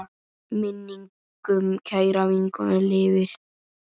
Minning um kæra vinkonu lifir.